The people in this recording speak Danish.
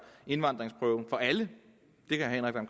indvandringsprøven for alle herre henrik dam